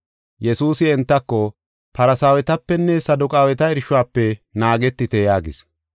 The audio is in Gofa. Yesuusi entako, “Farsaawetapenne Saduqaaweta irshuwafe naagetite” yaagis.